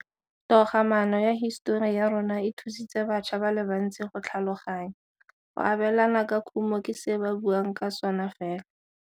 Togamaano ya hisetori ya rona, e thusitse batšha ba le bantsi go tlhaloganya. Go abelana ka khumo ke se ba buang ka sona fela.